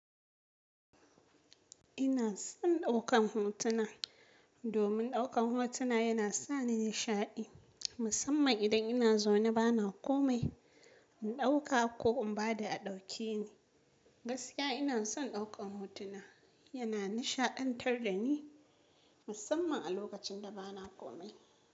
Ina son ɗaukan hotuna domin ɗaukan hotuna yana sa ni nishaɗi, musamman idan ina zaune bana komai, in ɗauka ko in ba da a ɗauke ni. Gaskiya ina son ɗaukan hotuna, yana nishaɗantar da ni musamman a lokacin da bana komai.